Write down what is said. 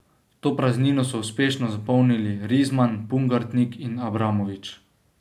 To praznino so uspešno zapolnili Rizman, Pungartnik in Abramovič.